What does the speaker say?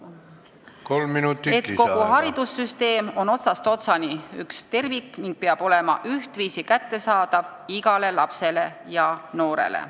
Sotsiaaldemokraadid on seda meelt, et kogu haridussüsteem on otsast otsani üks tervik ning peab olema ühtviisi kättesaadav igale lapsele ja noorele.